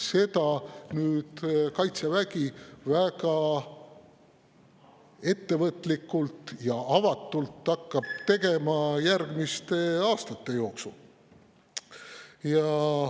Seda nüüd Kaitsevägi väga ettevõtlikult ja avatult hakkabki tegema järgmiste aastate jooksul.